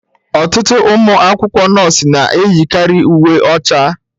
Ọtụtụ ụmụ akwụkwọ nọọsụ na-eyi karị uwe ọcha.